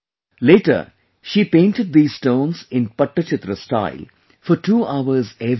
Later, she painted these stones in Pattachitra style for two hours every day